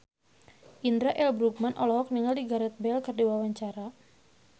Indra L. Bruggman olohok ningali Gareth Bale keur diwawancara